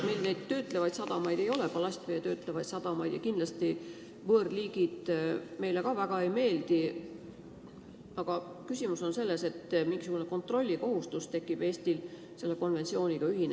Meil neid ballastvett töötlevaid sadamaid ei ole ja kindlasti ka võõrliigid meile väga ei meeldi, aga küsimus on selles, et Eestil tekib selle konventsiooniga ühinemisel mingisugune kontrollikohustus.